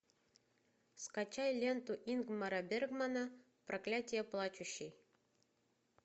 скачай ленту ингмара бергмана проклятие плачущей